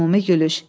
Ümumi gülüş.